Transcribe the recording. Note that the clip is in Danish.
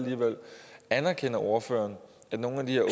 anerkender ordføreren at nogle af de